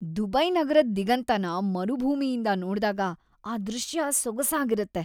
Dubai ನಗರದ್ ದಿಗಂತನ ಮರುಭೂಮಿಯಿಂದ ನೋಡ್ದಾಗ ಆ ದೃಶ್ಯ ಸೊಗಸಾಗಿರತ್ತೆ.